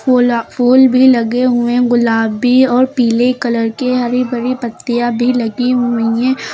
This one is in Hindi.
फूला फूल भी लगे हुए है गुलाबी और पीले कलर के हरी भरी पत्तियां भी लगी हुई हैं।